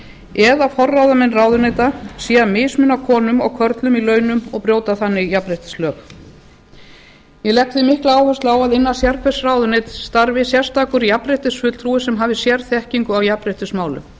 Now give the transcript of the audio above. eða forráðamenn ráðuneyta séu að mismuna konum og körlum í launum og brjóta þannig jafnréttislög ég legg því mikla áherslu á að innan sérhvers ráðuneytis starfi sérstakur jafnréttisfulltrúi sem hafi sérþekkingu á jafnréttismálum